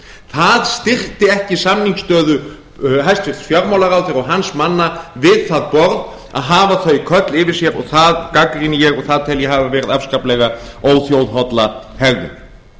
það styrkti ekki samningsstöðu hæstvirtur fjármálaráðherra og hans manna við það borð að hafa þau köll yfir sér og það gagnrýni ég og það tel ég hafa verið afskaplega óþjóðholla